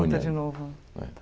Junta de novo É